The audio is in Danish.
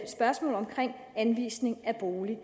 spørgsmålet om anvisning af bolig